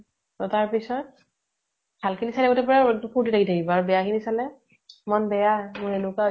অ । তাৰপিছত । ভাল খিনি চাই থাকোতে পুৰা ফুৰ্তি লাগি থাকিব আৰু বেয়া খিনি চালে মন বেয়া । মোৰ এনেকুৱা হৈ